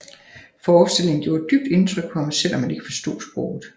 Forestillingen gjorde et dybt indtryk på ham selv om han ikke forstod sproget